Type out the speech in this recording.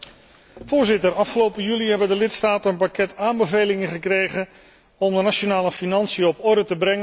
Afgelopen juli hebben de lidstaten een pakket aanbevelingen gekregen om de nationale financiën op orde te brengen en te houden.